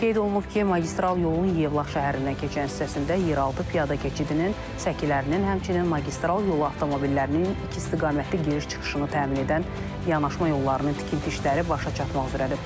Qeyd olunub ki, magistral yolun Yevlax şəhərindən keçən hissəsində yeraltı piyada keçidinin səkilərinin, həmçinin magistral yolu avtomobillərinin iki istiqamətli giriş-çıxışını təmin edən yanaşma yollarının tikinti işləri başa çatmaq üzrədir.